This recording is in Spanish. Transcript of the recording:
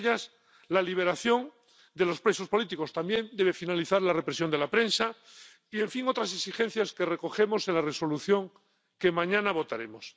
Una de ellas, la liberación de los presos políticos. También debe finalizar la represión de la prensa y, en fin, otras exigencias que recogemos en la propuesta de Resolución que mañana votaremos.